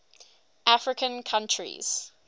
african countries